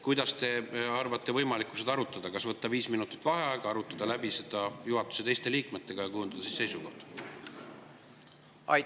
Kuidas te peate võimalikuks seda arutada, kas tuleks võtta viis minutit vaheaega, arutada see läbi juhatuse teiste liikmetega ja kujundada siis seisukoht?